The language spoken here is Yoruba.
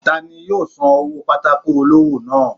Tani yóò sán ọwọ pàtàkó olọwọ naa.?